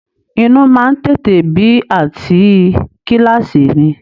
Inú má ń tètè bí àǹtí i kíláàsì mi